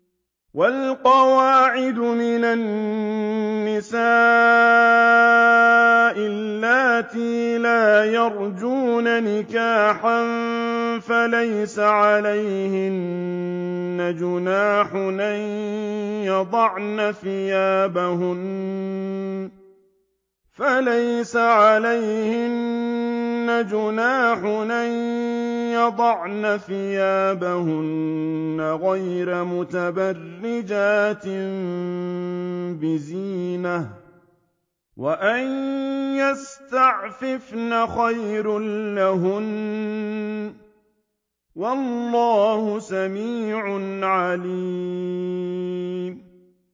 وَالْقَوَاعِدُ مِنَ النِّسَاءِ اللَّاتِي لَا يَرْجُونَ نِكَاحًا فَلَيْسَ عَلَيْهِنَّ جُنَاحٌ أَن يَضَعْنَ ثِيَابَهُنَّ غَيْرَ مُتَبَرِّجَاتٍ بِزِينَةٍ ۖ وَأَن يَسْتَعْفِفْنَ خَيْرٌ لَّهُنَّ ۗ وَاللَّهُ سَمِيعٌ عَلِيمٌ